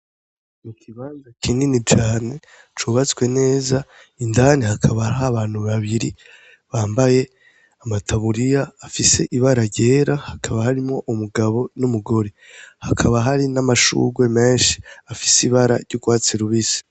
Ni ikibanza kinini cane cubatswe neza, indani hakaba hari abantu babiri bambaye amataburiya afise ibara ryera, hakaba harimwo umugabo n'umugore. Hakaba hari n'amashugwe menshi afise ibara ry'urwatsi rubisi.